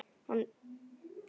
Hann reis á fætur.